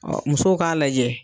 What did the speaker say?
Musow k'a lajɛ